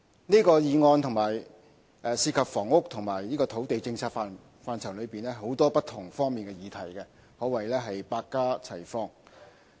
這項議案涉及房屋及土地政策範疇內很多不同方面的議題，可謂百花齊放。